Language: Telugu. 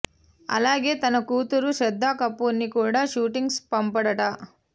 అలాగే తన కూతురు శ్రద్దా కపూర్ ని కూడా షూటింగ్స్ పంపడట